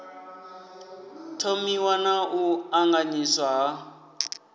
thomiwa na u ṱanganyiswa ha